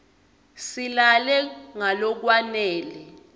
silale ngalokwanele